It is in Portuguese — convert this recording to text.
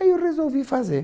Aí eu resolvi fazer.